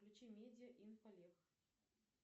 включи медиа инфолех